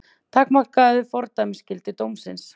Takmarkað fordæmisgildi dómsins